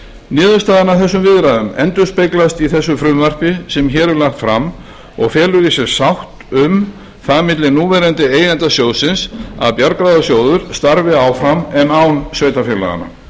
niðurstaða af þessum viðræðum endurspeglast í þessu frumvarpi sem hér er lagt felur í sér sátt um það milli núverandi eigenda sjóðsins að bjargráðasjóður starfi áfram en án sveitarfélaganna